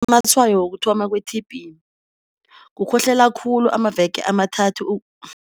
Amatshwayo wokuthoma kwe-T_B, kukhohlela khulu amaveke amathathu